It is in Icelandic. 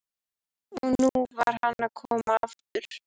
Og nú var hann að koma aftur!